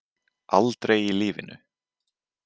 Aldrei í lífinu.